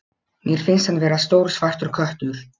Mér finnst hann vera stór svartur köttur.